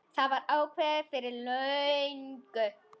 Það var ákveðið fyrir löngu.